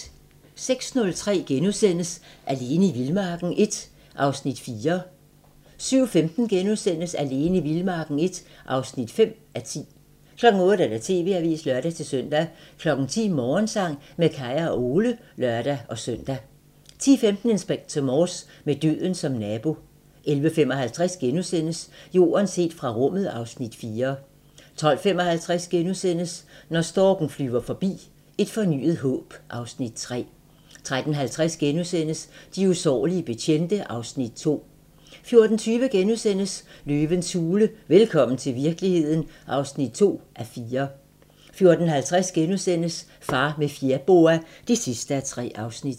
06:30: Alene i vildmarken I (4:10)* 07:15: Alene i vildmarken I (5:10)* 08:00: TV-avisen (lør-søn) 10:00: Morgensang med Kaya og Ole (lør-søn) 10:15: Inspector Morse: Med døden som nabo 11:55: Jorden set fra rummet (Afs. 4)* 12:55: Når storken flyver forbi - Et fornyet håb (Afs. 3)* 13:50: De usårlige betjente (Afs. 2)* 14:20: Løvens hule - velkommen til virkeligheden (2:4)* 14:50: Far med fjerboa (3:3)*